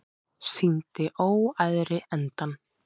Sýndi óæðri endann